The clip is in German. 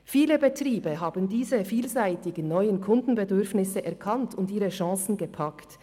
Viele Betriebe haben diese vielseitigen Kundenbedürfnisse erkannt und ihre Chancen gepackt.